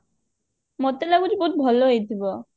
ମତେ ଲାଗୁଛି ବହୁତ ଭଲ ହେଇଥିବ